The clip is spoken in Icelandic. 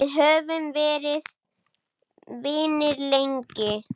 Við höfum verið vinir lengi.